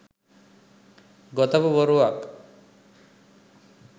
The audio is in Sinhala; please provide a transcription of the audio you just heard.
ගොතපු බොරුවක්.